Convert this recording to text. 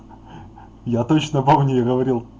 я точно помню я говорил